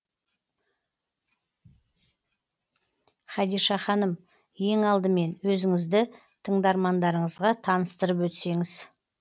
хадиша ханым ең алдымен өзіңізді тыңдармандарыңызға таныстырып өтсеңіз